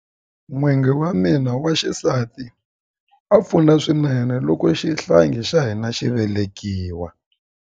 N'wingi wa mina wa xisati a pfuna swinene loko xihlangi xa hina xi velekiwa.